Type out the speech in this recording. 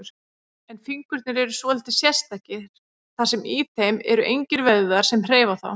En fingurnir eru svolítið sérstakir, þar sem í þeim eru engir vöðvar sem hreyfa þá.